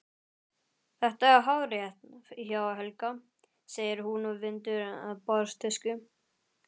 Þetta er hárrétt hjá Helga, segir hún og vindur borðtusku.